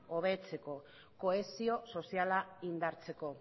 hobetzeko kohesio soziala indartzeko